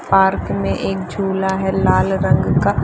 park में एक झूला है लाल रंग का --